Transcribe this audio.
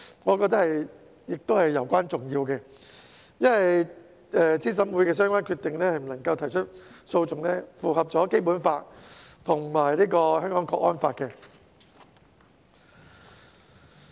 我覺得這是攸關重要的，因為對資審會的相關決定不得提出訴訟，符合《基本法》和《香港國安法》。